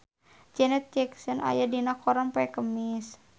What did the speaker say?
Janet Jackson aya dina koran poe Kemis